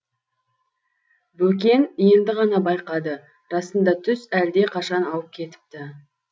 бөкен енді ғана байқады расында түс әлдеқашан ауып кетіпті